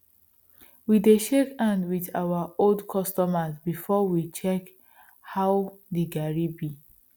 we dey shake hand with our old customers before we check how the garri be